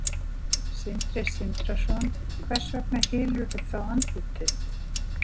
Sindri Sindrason: Hvers vegna hylurðu þá andlit þitt?